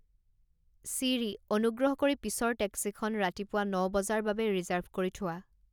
Siri অনুগ্ৰহ কৰি পিছৰ টেক্সিখন ৰাতিপুৱা ন বজাৰ বাবে ৰিজাৰ্ভ কৰি থোৱা